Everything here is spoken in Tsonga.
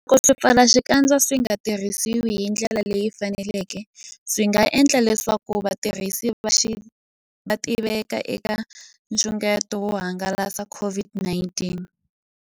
Loko swipfalaxikandza swi nga tirhisiwi hi ndlela leyi faneleke, swi nga endla leswaku vatirhisi va tiveka eka nxungeto wo hangalasa COVID-19.